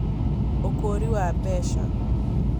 Ũkũũri wa mbeca